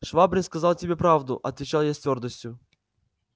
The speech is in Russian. швабрин сказал тебе правду отвечал я с твёрдостию